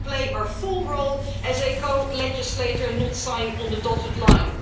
here. We will play our full role as a co legislator and not sign on the dotted